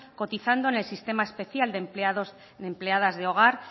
cotizando en el sistema especial de empleadas de hogar